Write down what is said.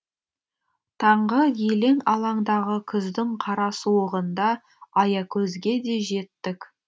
таңғы елең алаңдағы күздің қара суығында аякөзге де жеттік